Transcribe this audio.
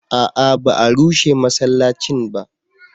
a'a ba a rushe masallacin ba